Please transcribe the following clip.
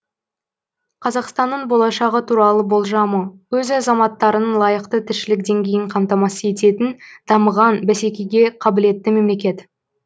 қазақстанның болашағы туралы болжамы өз азаматтарының лайықты тіршілік деңгейін қамтамасыз ететін дамыған бәсекеге қабілетті мемлекет